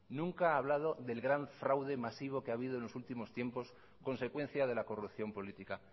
nunca ha hablado del gran fraude masivo que ha habido en los últimos tiempos consecuencia de la corrupción política